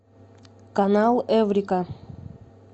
канал эврика